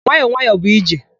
Nwayọ nwayọ bụ ije.